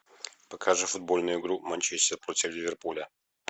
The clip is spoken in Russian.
покажи футбольную игру манчестер против ливерпуля